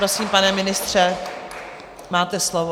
Prosím, pane ministře, máte slovo.